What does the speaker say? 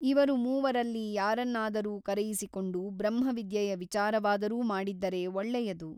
ಇವರು ಮೂವರಲ್ಲಿ ಯಾರನ್ನಾದರೂ ಕರೆಯಿಸಿಕೊಂಡು ಬ್ರಹ್ಮವಿದ್ಯೆಯ ವಿಚಾರವಾದರೂ ಮಾಡಿದ್ದರೆ ಒಳ್ಳೆಯದು.